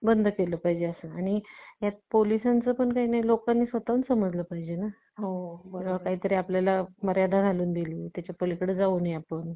बंद केलं पाहिजे यात पोलिसांचं पण काही नाही लोकांनी स्वतः समजलं पाहिजे की काहीतरी आपल्याला मर्यादा घालून दिले त्याच्या पलीकडे आपण जाऊ नये